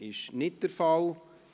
– Das ist nicht der Fall.